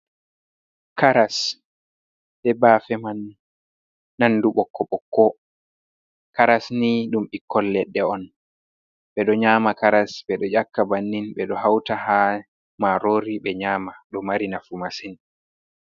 Karas e bafe man, nandu ɓokko ɓokko, karas ni ɗum ɓikkoi leɗɗe on, ɓedo nyama karas ɓedo yakka bannin. Ɓe ɗo hauta ha marori ɓe nyama,. Ɗo mari nafu masin.